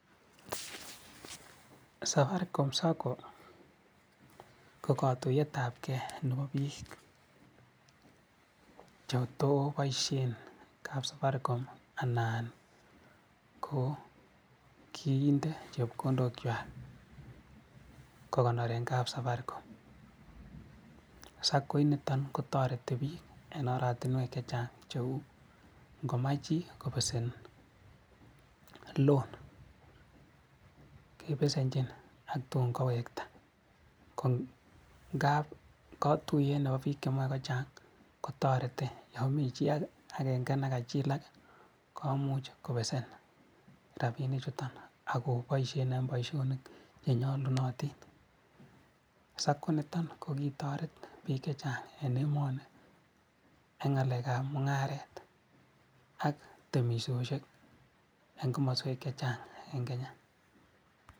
Safaricom SACCO ko kotuyet ab gee nebo biik che too boishe en kapsafaricom anan ko kiiten chepkondok kwak kokonoren kapsafaricom SACCO initon kotoreti bik en oratinwek che chang cheu inkomach chii kobesen loan kebesenjin ak tun kowekta ngap kotuyet nebo bik chemo ko chang kotoreti yon mii chii agenge nekajilak komuch kobesen, rabinik chutok ak koboishen en boishonik che nyolunotin SACCO initon ko kitoretbik che chang en emoni en ngalek ab mungaret ak temishoshek en komoswek che chang en kenya.